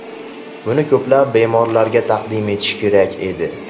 Buni ko‘plab bemorlarga taqdim etish kerak edi.